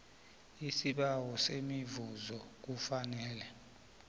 isibawo semivuzo kufanele